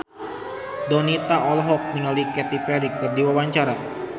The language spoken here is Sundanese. Donita olohok ningali Katy Perry keur diwawancara